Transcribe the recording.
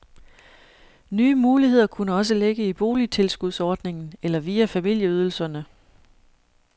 Nye muligheder kunne også ligge i boligtilskudsordningen eller via familieydelserne.